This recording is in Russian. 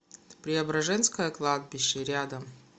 преображенское кладбище рядом